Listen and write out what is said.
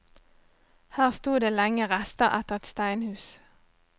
Her sto det lenge rester etter et steinhus.